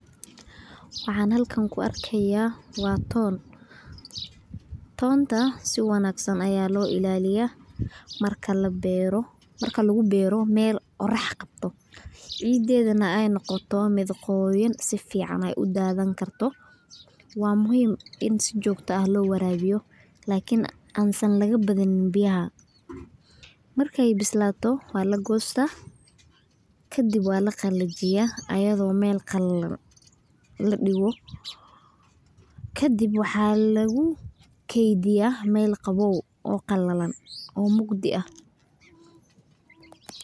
Waxan halkan kuarkaya waa ton, tonta si wanagsan aya loo ilaliyah marka labero, lagu bero mel qorax qabto, cidedha nah iay noqoto mid qoyan sifican aay uadhani karto waa muhim ini si jogto ah lo warabiyo lakini aan san lagabadini biyaha markay bislato walagosta kadib walaqalajiya ayadho mel qalalan ladigo kadib waxa lagu kediya mel qabow oo qalalan oo mugdi ah.